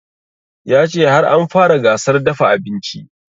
Ya ce har an fara gasar dafa abinci